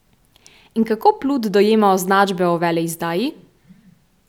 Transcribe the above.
In kako Plut dojema označbe o veleizdaji?